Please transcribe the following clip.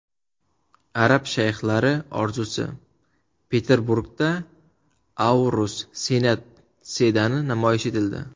Arab shayxlari orzusi: Peterburgda Aurus Senat sedani namoyish etildi .